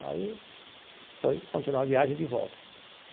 Aí foi, continuou a viagem de volta.